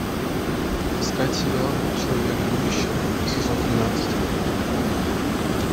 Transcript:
искать сериал человек будущего сезон тринадцать